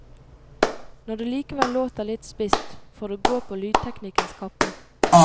Når det likevel låter litt spisst, får det gå på lydteknikkens kappe.